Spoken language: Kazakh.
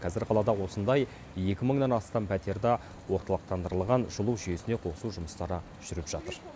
қазір қалада осындай екі мыңнан астам пәтерді орталықтандырылған жылу жүйесіне қосу жұмыстары жүріп жатыр